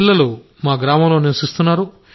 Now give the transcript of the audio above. పిల్లలు మా గ్రామంలో నివసిస్తున్నారు